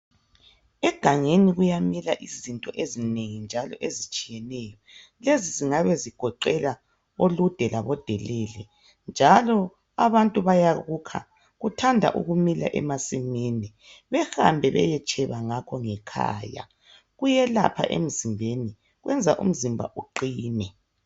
Egangeni kuyamila izinto ezinengi njalo ezitshiyeneyo. Lezi zingabe zigoqela olude labo delele njalo abantu bayakukha. Kuthanda ukumila emasimini, behambe beyetsheba ngakho ngekhaya. Kuyelapha emzimbeni, kwenza umzimba uqine.